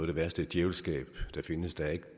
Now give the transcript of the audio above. det værste djævelskab der findes der er